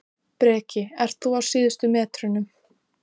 Fulltrúanefndir þekkjast víða úr erlendri hlutafélagalöggjöf.